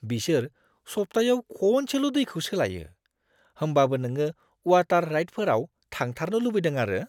बिसोर सब्थायाव खनसेल' दैखौ सोलायो, होमबाबो नोङो वाटार राइडफोराव थांथारनो लुबैदों आरो!